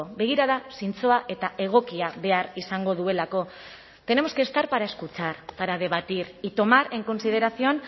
begirada zintzoa eta egokia behar izango duelako tenemos que estar para escuchar para debatir y tomar en consideración